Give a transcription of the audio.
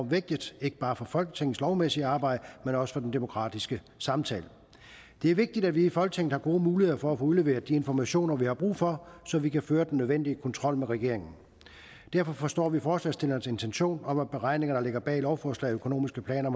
vigtigt ikke bare for folketingets lovmæssige arbejde men også for den demokratiske samtale det er vigtigt at vi i folketinget har gode muligheder for at få udleveret de informationer vi har brug for så vi kan føre den nødvendige kontrol med regeringen derfor forstår vi forslagsstillernes intention om at beregninger der ligger bag lovforslag økonomiske planer